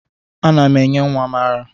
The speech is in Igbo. Ana m enye nwa m ara